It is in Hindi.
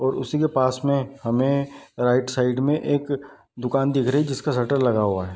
और उसी के पास में हमें राइट साइड में एक दुकान दिख रही है जिसका शटर लगा हुआ है।